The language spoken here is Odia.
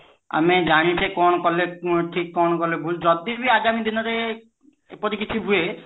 ଆମେ ଜାଣିଛେ କଣ କଲେ ଠିକ କଣ କଲେ ଭୁଲ ଯଦି ବି ଆଗାମୀ ଦିନରେ ଏପରି କିଛି ହୁଏ